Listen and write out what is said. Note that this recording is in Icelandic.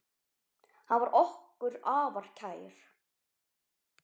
Hann var okkur afar kær.